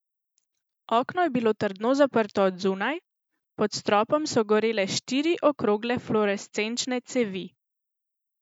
Okno je bilo trdno zaprto od zunaj, pod stropom so gorele štiri okrogle fluorescenčne cevi.